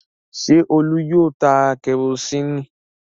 Ṣé Olú yóò ta kẹrósíínì?